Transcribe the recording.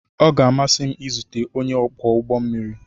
Ọ ga-amasị m izute onye ọkwọ ụgbọ mmiri.